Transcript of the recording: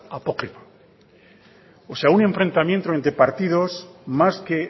apócrifa o sea un enfrentamiento entre partidos más que